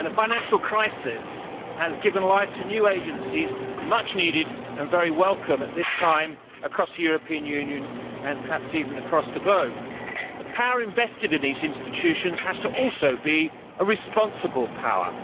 A financial crisis has given life to new agencies, which are much needed and very welcome at this time across the European Union and perhaps even across the globe, but the power invested in these institutions also has to be a responsible power.